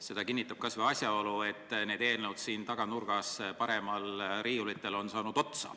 Seda kinnitab kas või asjaolu, et eelnõud siin saali taganurgas olevatel riiulitel on otsa saanud.